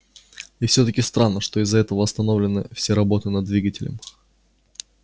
и всё-таки странно что из-за этого остановлены все работы над двигателем